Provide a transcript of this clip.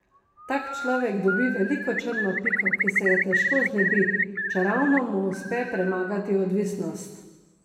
Tak človek dobi veliko črno piko, ki se je težko znebi, čeravno mu uspe premagati odvisnost.